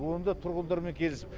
оны да тұрғындармен келісіп